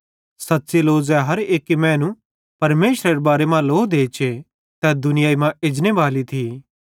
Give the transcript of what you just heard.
सच़्च़ी लो ज़ै हर एक्की मैनू परमेशरेरे बारे मां ज़ान्नेरी लो देचे तै दुनियाई मां एजनेबाली थी